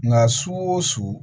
Nka su o su